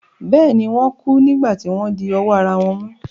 Bẹ́ẹ̀ ni, Wọ́n kú nígbà tí wọ́n di ọwọ́ ara wọn mú.